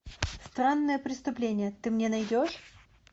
странное преступление ты мне найдешь